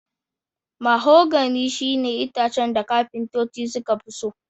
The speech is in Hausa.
Mahogany shine itacen da kafintoci sukafi so